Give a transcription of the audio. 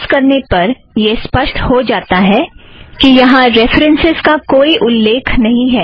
browse करने पर यह स्पष्ट हो जाता कि यहाँ रेफ़रन्सस् का कोई उल्लेख नहीं है